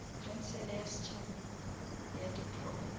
khansele ya setšhaba ya diprofense